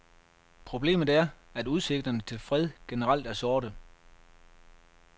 Problemet er, at udsigterne til fred generelt er sorte.